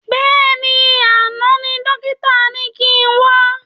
Bẹ́ẹ̀ni, àná ni dókítà ni kin wá